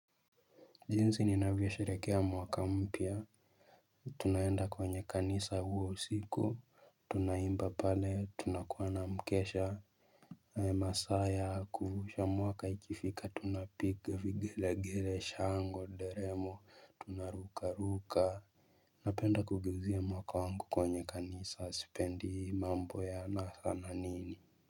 Jinsi ninavyosherekea mwaka mpya Tunaenda kwenye kanisa huo usiku Tunaimba pale tunakuwa na mkesha Hae masa ya kuruka mwaka ikifika tunapiga vigilegele shangwe nderemo tunaruka ruka Napenda kurukia mwaka wangu kwenye kanisa sipendi mambo ya anasa na nini.